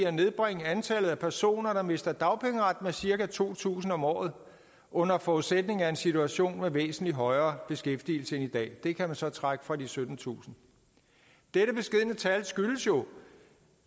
at nedbringe antallet af personer der mister dagpengeretten med cirka to tusind om året under forudsætning af en situation med væsentlig højere beskæftigelse end i dag det kan man så trække fra de syttentusind dette beskedne tal skyldes jo